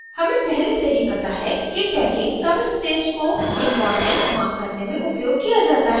हमें पहले से ही पता है कि tagging commit stage को इम्पॉर्टेन्ट महत्वपूर्ण mark करने में उपयोग किया जाता है